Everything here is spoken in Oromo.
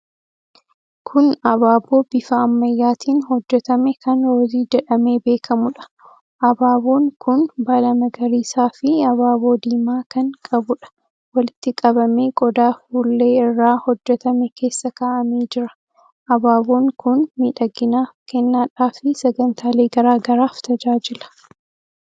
Kun abaaboo bifa ammayyaatiin hojjetame kan roosii jedhamee beekamuudha. Abaaboon kun baala magariisaafi abaaboo diimaa kan qabuudha. Walitti qabamee qodaa fuullee irraa hojjetame keessa kaa'amee jira. Abaaboon kun miidhaginaaf, kennaadhaafi sagantaalee garaa garaaf tajaajila.